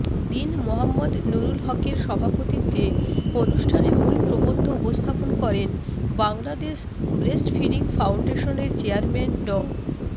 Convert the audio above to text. দীন মোহাম্মদ নুরুল হকের সভাপতিত্বে অনুষ্ঠানে মূল প্রবন্ধ উপস্থাপন করেন বাংলাদেশ ব্রেস্টফিডিং ফাউন্ডেশনের চেয়াম্যান ড